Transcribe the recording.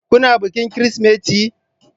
Kuna bikin Kirsimeti?